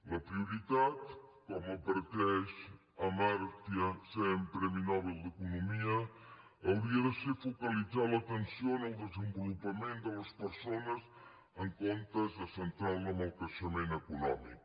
la prioritat com adverteix amartya sen premi nobel d’economia hauria de ser focalitzar l’atenció en el desenvolupament de les persones en comptes de centrar la en el creixement econòmic